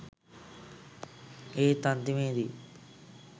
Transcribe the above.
ඒත් අන්තිමේදී